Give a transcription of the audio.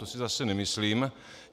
To si zase nemyslím.